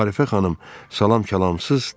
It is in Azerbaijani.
Arifə xanım salam-kəlamsız dedi.